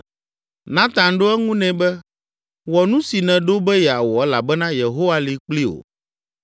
Natan ɖo eŋu nɛ be, “Wɔ nu si nèɖo be yeawɔ elabena Yehowa li kpli wò.”